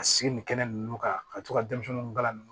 Ka sigi nin kɛnɛ ninnu kan ka to ka denmisɛnninw kalan